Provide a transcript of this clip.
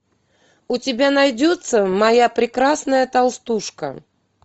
у тебя найдется моя прекрасная толстушка